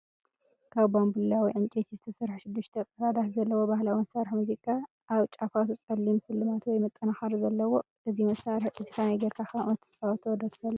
ካብ ባምቡላ ወይ ዕንጨይቲ ዝተሰርሐ ሽዱሽተ ቀዳዳት ዘለዎ ባህላዊ መሳርሒ ሙዚቃ። ኣብ ጫፋቱ ጸሊም ስልማት ወይ መጠናኸሪ ኣለዎ። እዚ መሳርሒ እዚ ከመይ ጌርካ ከም እትጻወቶ ዶ ትፈልጥ?